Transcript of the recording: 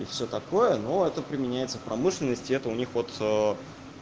и всё такое но это применяется в промышленности и это у них вот